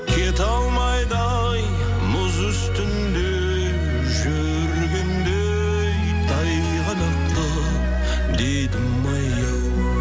кете алмайды ай мұз үстінде жүргендей тайғанақтап дедімай ау